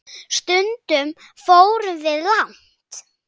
Stundum fórum við langt.